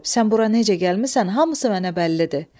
Sən bura necə gəlmisən, hamısı mənə bəllidir.